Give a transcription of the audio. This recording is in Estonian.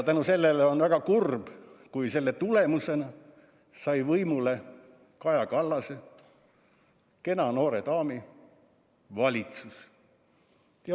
Ja väga kurb, et just selle tulemusena sai võimule Kaja Kallase, kena noore daami valitsus.